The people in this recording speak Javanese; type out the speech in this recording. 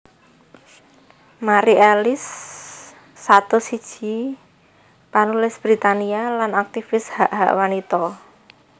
Mari Ellis satus siji panulis Britania lan aktivis hak hak wanita